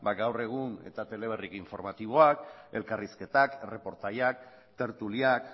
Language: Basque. gaur egun eta teleberri informatiboak elkarrizketak erreportaiak tertuliak